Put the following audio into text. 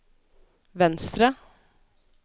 venstre